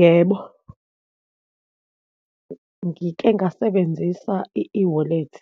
Yebo, ngike ngasebenzisa i-ewallet,